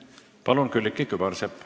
Palun, Külliki Kübarsepp!